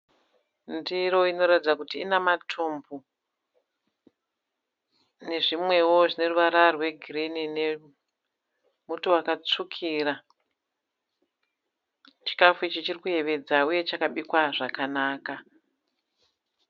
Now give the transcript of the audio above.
Ndiro inoratidza kuti inamatumbu nezvimwewo zvineruvara rwegirini nemuto wakatsvukira. Chikafu ichi chirikuyevedza huye chakabikwa zvakanaka.